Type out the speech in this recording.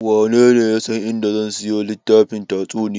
Wanene ya san a inda zan siyo littafin tatsuniya?